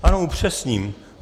Ano, upřesním.